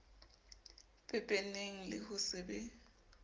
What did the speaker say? pepeneng le ho se be